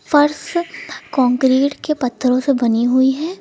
फर्श कंक्रीट के पत्थरों से बनी हुई है।